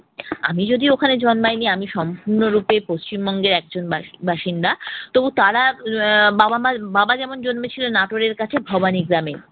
আমি যদিও ওখানে জন্মাইনি। আমি সম্পূর্ণরূপে পশ্চিম বঙ্গের একজন বাসি~ বাসিন্দা তবু তারা আহ বাবা-মার বাবা যেমন জন্মেছিলেন নাটোরের কাছে ভবানী গ্রামে।